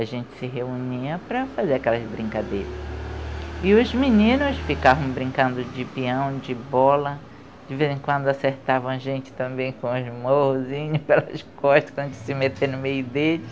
A gente se reunia para fazer aquelas brincadeiras. E os meninos ficavam brincando de peão, de bola De vez em quando acertavam a gente também com os morrosinhos pelas costas, quando se meter no meio deles